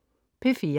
P4: